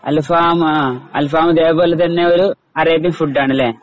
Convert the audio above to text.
അൽഫാമ അൽഫാമ അതുപോലെതന്നെയൊരു Arabian food ആണല്ലേ.